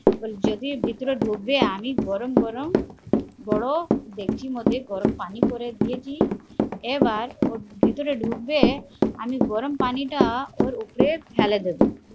বলি যদি ভেতরে ঢুকবে আমি গরম গরম বড়ো ডেকচি মধ্যে গরম পানি করে দিয়েছি এবার ও ভেতরে ঢুকবে আমি গরম পানি টা ওর উপরে ফেলে দেব